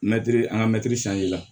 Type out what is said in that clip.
Mɛtiri an ka mɛti la